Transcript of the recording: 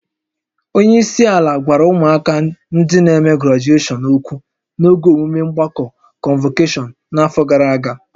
Onye isi ala gwara ụmụ akwụkwọ ndị n'eme grajueshọn ókwú n'oge emume mgbakọ kọnvokeshọn n'afọ gara aga